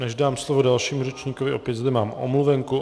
Než dám slovo dalšímu řečníkovi, opět zde mám omluvenku.